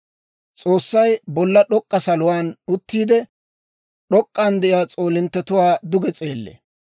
«S'oossay bolla d'ok'k'a saluwaan uttiide, d'ok'k'an de'iyaa s'oolinttetuwaa duge s'eellee.